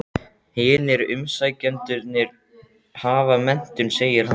Hinir umsækjendurnir hafa menntun, segir hann.